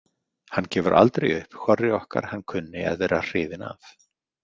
Hann gefur aldrei upp hvorri okkar hann kunni að vera hrifinn af.